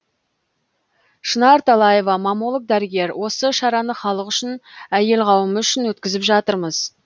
шынар талаева маммолог дәрігер осы шараны халық үшін әйел қауымы үшін өткізіп жатырмыз